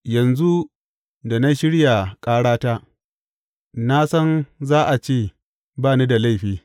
Yanzu da na shirya ƙarata, na san za a ce ba ni da laifi.